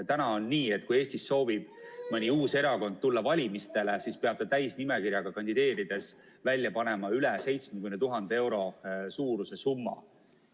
Praegu on nii, et kui Eestis soovib mõni uus erakond tulla valimistele, siis peab ta täisnimekirjaga kandideerides välja panema üle 70 000 euro suuruse summa.